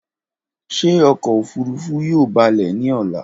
Ṣe ọkọ ofurufu yoo balẹ ni ọla?